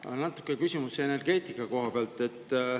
Mul on natuke küsimusi energeetika kohta.